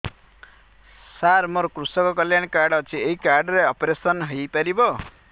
ସାର ମୋର କୃଷକ କଲ୍ୟାଣ କାର୍ଡ ଅଛି ଏହି କାର୍ଡ ରେ ଅପେରସନ ହେଇପାରିବ